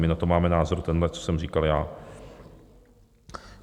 My na to máme názor tenhle, co jsem říkal já.